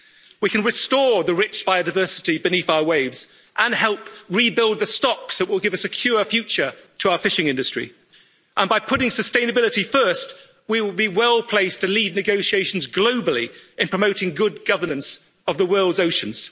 We can restore the rich biodiversity beneath our waves and help rebuild the stocks that will give a secure future to our fishing industry. By putting sustainability first, we will be well placed to lead negotiations globally in promoting good governance of the world's oceans.